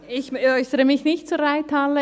Ich äussere mich nun nicht zur Reithalle;